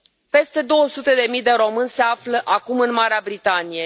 Peste două sute de mii de români se află acum în Marea Britanie.